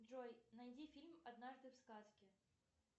джой найди фильм однажды в сказке